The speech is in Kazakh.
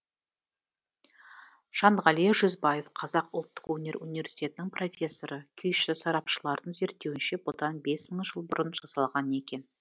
жанғали жүзбаев қазақ ұлттық өнер университетінің профессоры күйші сарапшылардың зерттеуінше бұдан бес мың жыл бұрын жасалған екен